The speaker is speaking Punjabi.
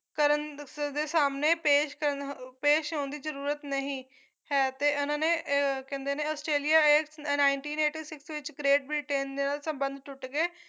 ਦਫਤਰ ਦੇ ਸਾਹਮਣੇ ਪੇਸ਼ ਕਰਨ ਹੋ ਪੇਸ਼ ਹੋਣ ਦੀ ਜਰੂਰਤ ਨਹੀਂ ਹੈ ਤੇ ਇਹਨਾਂ ਨੇ ਏ ਅਹ ਕਹਿੰਦੇ ਨੇ ਆਸਟ੍ਰੇਲੀਆ ਇਸ nineteen eighty six ਵਿੱਚ great ਬ੍ਰਿਟੇਨ ਦੇ ਨਾਲ ਸੰਬੰਧ ਟੁੱਟ ਗਏ